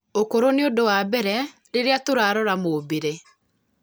ũkũrũ nĩ ũndũ wa mbere rĩrĩa tũrarora mũũmbĩre